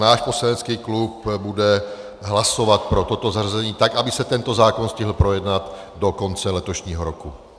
Náš poslanecký klub bude hlasovat pro toto zařazení, tak aby se tento zákon stihl projednat do konce letošního roku.